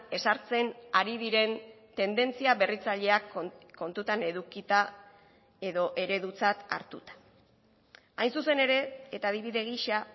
ezartzen ari diren tendentzia berritzaileak kontutan edukita edo eredutzat hartuta hain zuzen ere eta adibide gisa